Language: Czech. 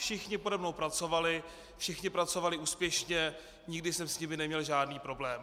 Všichni pode mnou pracovali, všichni pracovali úspěšně, nikdy jsem s nimi neměl žádný problém.